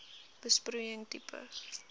besproeiing tipe